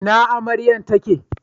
Ina amaryan ta ke